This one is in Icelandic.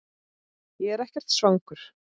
Ég er ekkert svangur